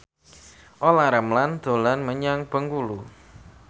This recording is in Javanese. Olla Ramlan dolan menyang Bengkulu